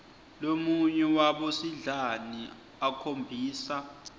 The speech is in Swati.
lomunye wabosidlani akhombisa